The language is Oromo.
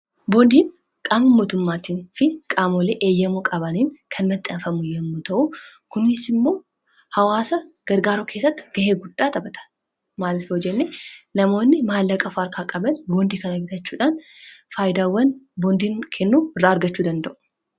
boondiin qaam mootummaatiin fi qaamolee eeyyamoo qabaaliin kan maxxaafamu yommu ta'uu kunis immoo hawaasa gargaaroo keessatti gahee guddhaa xabata maallafe hojalle namoonni maallaqa farkaa qabal boondii kana bitachuuhaan faayidaawwan boondiin kennuu irraa argachuu danda'u